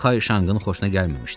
Bu Kayşanqın xoşuna gəlməmişdi.